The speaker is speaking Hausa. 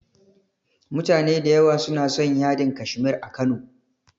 Mutane da yawa suna son yadin Kashmir a Kano.